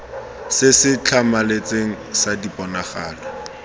se se tlhamaletseng sa diponagalo